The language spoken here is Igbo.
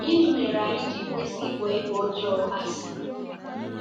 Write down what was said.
Gịnị mere anyị ji kwesị ịkpọ ihe ọjọọ asị?